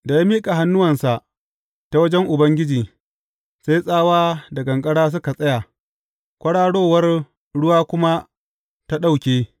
Da ya miƙa hannuwansa ta wajen Ubangiji, sai tsawa da ƙanƙara suka tsaya, kwararowar ruwa kuma ta ɗauke.